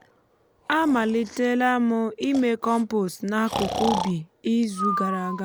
A malitela m ime kọmpost n’akụkụ ubi izu gara aga.